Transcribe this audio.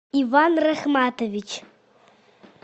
иван рахматович